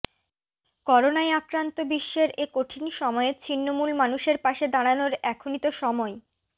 করোনায় আক্রান্ত বিশ্বের এ কঠিন সময়ে ছিন্নমূল মানুষের পাশে দাঁড়ানোর এখনই তো সময়